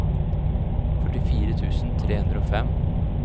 førtifire tusen tre hundre og fem